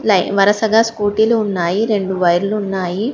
వరుసగా స్కూటీలు ఉన్నాయి రెండు వైర్లు ఉన్నాయి.